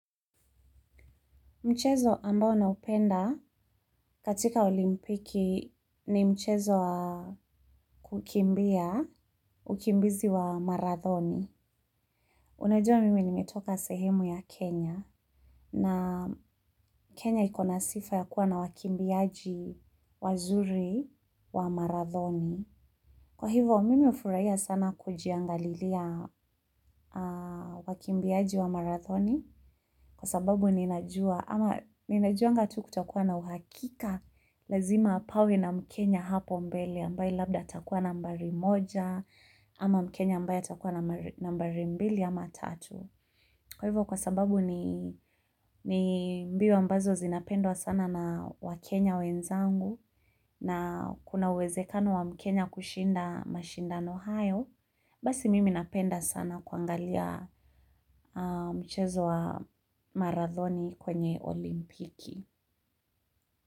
Mchezo ambao naupenda katika olimpiki ni mchezo wa kukimbia, ukimbizi wa marathoni. Unajua mimi nimetoka sehemu ya Kenya na Kenya ikona sifa ya kuwa na wakimbiaji wazuri wa marathoni. Kwa hivo mimi ufuraia sana kujiangalilia wakimbiaji wa marathoni. Kwa sababu ninajua ama ninajuanga tu kutakuwa na uhakika lazima pawe na mkenya hapo mbele ambaye labda atakua nambari moja ama mkenya ambaye atakua nambari mbili ama tatu. Kwa hivyo kwa sababu ni mbio ambazo zinapendwa sana na wakenya wenzangu na kuna uwezekano wa mkenya kushinda mashindano hayo, basi mimi napenda sana kuangalia mchezo wa marathoni kwenye olimpiki.